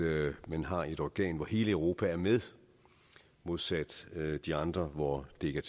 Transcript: at man har et organ hvor hele europa er med modsat de andre hvor det ikke